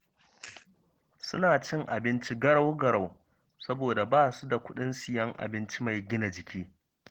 Suna cin abinci garau-garau saboda ba su da kuɗin siyan abinci mai gina jiki